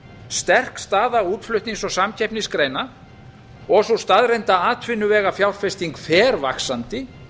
sterk staða útflutnings og samkeppnisgreina og sú staðreynd að atvinnuvegafjárfesting fer vaxandi